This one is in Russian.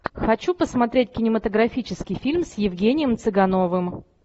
хочу посмотреть кинематографический фильм с евгением цыгановым